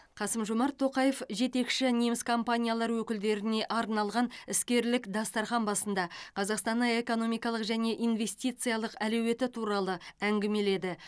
қасым жомарт тоқаев жетекші неміс компаниялары өкілдеріне арналған іскерлік дастархан басында қазақстанның экономикалық және инвестициялық әлеуеті туралы әңгімеледі